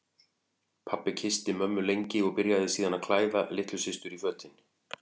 Pabbi kyssti mömmu lengi og byrjaði síðan að klæða litlu systur í fötin.